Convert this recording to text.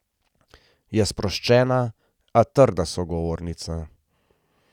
Je sproščena, a trda sogovornica.